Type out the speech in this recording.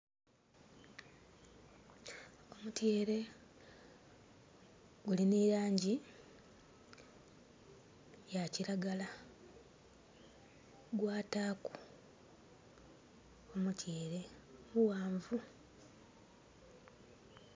Omutyeere guli ni langi ya kiragala gwataku omutyeere muwanvu